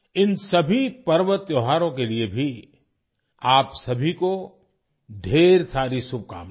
इन सभी पर्व त्योहारों के लिए भी आप सभी को ढेर सारी शुभकामनाएं